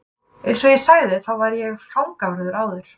Eins og ég sagði þá var ég fangavörður áður.